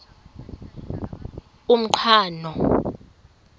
umqhano